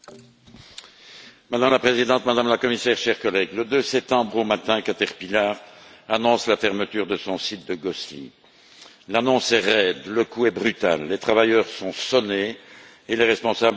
Madame la Présidente, Madame la Commissaire, chers collègues, le 2 septembre au matin, Caterpillar annonce la fermeture de son site de Gosselies. L'annonce est raide, le coup est brutal, les travailleurs sont sonnés et les responsables politiques choqués.